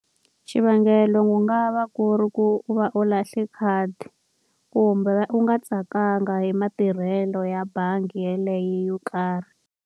Xivangelo ku nga va ku ri ku u va u lahle khadi, kumbe u nga tsakanga hi matirhelo ya bangi yeleyo yo karhi.